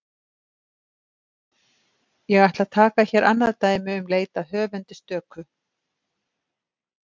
Ég ætla að taka hér annað dæmi um leit að höfundi stöku.